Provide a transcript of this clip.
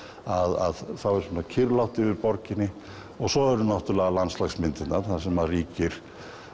að þá er kyrrlátt yfir borginni og svo eru landslagsmyndirnar þar sem ríkir